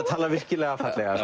tala virkilega fallega